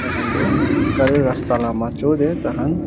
khan tu gari rasta laga majot te tar khan--